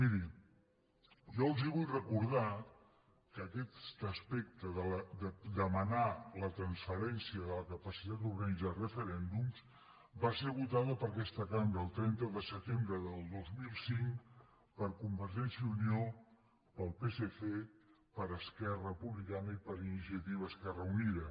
miri jo els vull recordar que aquest aspecte de demanar la transferència i la capacitat d’organitzar referèndums va ser votat per aquesta cambra el trenta de setembre del dos mil cinc per convergència i unió pel psc per esquerra republicana i per iniciativa esquerra unida